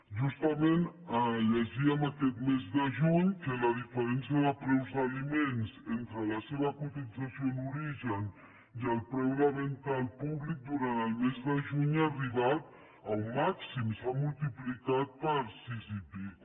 justament llegíem aquest mes de juny que la diferència de preus d’aliments entre la seva cotització en origen i el preu de venda al públic durant el mes de juny ja arribat a un màxim s’ha multiplicat per sis i escaig